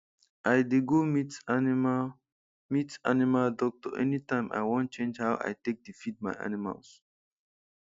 i dey go meet animal meet animal doctor anytime i wan change how i take dey feed my animals